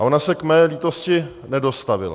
A ona se k mé lítosti nedostavila.